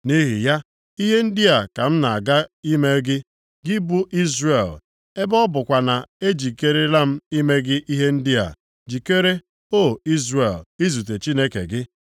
“Nʼihi ya, ihe ndị a ka m na-aga ime gị, gị bụ Izrel. Ebe ọ bụkwa na ejikerela m ime gị ihe ndị a, jikere, O Izrel, izute Chineke gị.”